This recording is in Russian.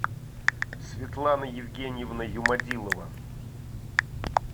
светлана евгеньевна юмадилова